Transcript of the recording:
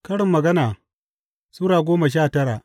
Karin Magana Sura goma sha tara